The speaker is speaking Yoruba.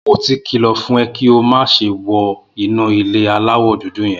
Mo ti kìlọ̀ fún ọ pé kí o má ṣe wọ inú ilé aláwọ̀ dúdú yẹn.